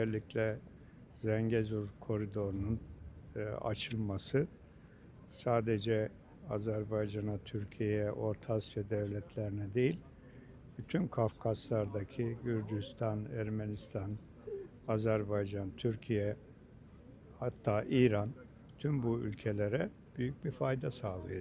Özəlliklə Zengezur koridorunun açılması sadece Azərbaycana, Türkiyəyə, Orta Asiya dövlətlərinə deyil, bütün Qafqaslardaki Gürcüstan, Ermənistan, Azərbaycan, Türkiyə, hatta İran, tüm bu ölkələrə büyük bir fayda sağlayacaq.